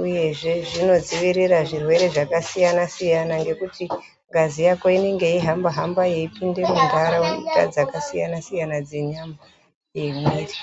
uyezve zvinodzivirira zvirwere zvakasiyana siyana ngekuti ngazi yako inenge yeihamba hamba yeipinde muntaraunda dzakasiyana siyana dzenyama yemwiiri.